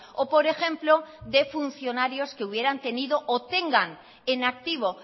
o por ejemplo de funcionarios que hubieran tenido o tengan en activo